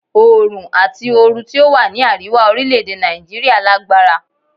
Oòrùn àti oru tí ó wà ní àríwá orílè-èdè Nàìjíríà lágbára.